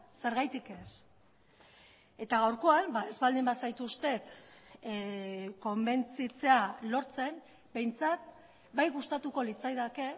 zergatik ez eta gaurkoan ez baldin bazaituztet konbentzitzea lortzen behintzat bai gustatuko litzaidake